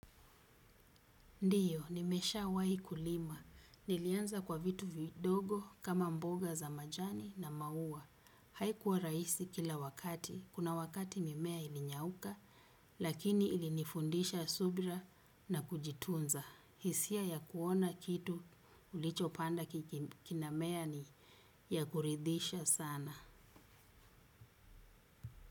Ndiyo, nimeshawahi kulima. Nilianza kwa vitu vidogo kama mboga za majani na maua. Haikuwa rahisi kila wakati. Kuna wakati mimea ilinyauka, lakini ilinifundisha subira na kujitunza. Hisia ya kuona kitu ulichopanda kinamea ni ya kuridisha sana.